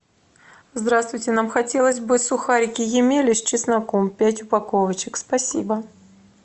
здравствуйте нам хотелось бы сухарики емеля с чесноком пять упаковочек спасибо